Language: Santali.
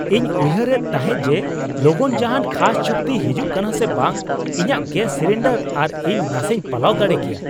ᱤᱧ ᱩᱭᱦᱟᱨᱮᱫ ᱛᱟᱦᱮᱸ ᱡᱮ ᱞᱚᱜᱚᱱ ᱡᱟᱦᱟᱱ ᱠᱷᱟᱥ ᱪᱩᱠᱛᱤ ᱦᱤᱡᱩᱜ ᱠᱟᱱᱟ ᱥᱮ ᱵᱟᱝ ᱾ ᱤᱧᱟᱹᱜ ᱜᱮᱥ ᱥᱤᱞᱤᱱᱰᱟᱨ ᱟᱨ ᱤᱧ ᱱᱟᱥᱮᱧ ᱯᱟᱞᱟᱣ ᱫᱟᱲᱮ ᱠᱮᱭᱟ ᱾